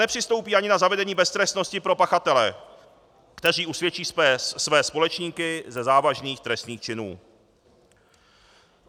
Nepřistoupí ani na zavedení beztrestnosti pro pachatele, kteří usvědčí své společníky ze závažných trestných činů.